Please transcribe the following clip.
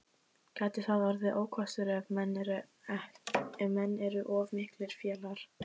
Gæti það orðið ókostur ef menn eru of miklir félagar?